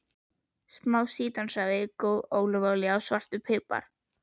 Smá sítrónusafi, góð ólífuolía og svartur pipar.